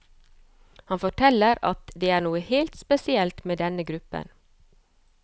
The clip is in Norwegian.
Han forteller at det er noe helt spesielt med denne gruppen.